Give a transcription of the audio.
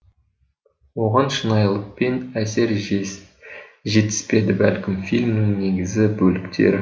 оған шынайылық пен әсер жетіспеді бәлкім фильмнің негізі бөліктері